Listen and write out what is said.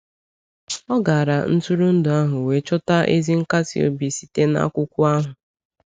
O gara ntụrụndụ ahụ wee chọta ezi nkasi obi site n’akwụkwọ ahụ.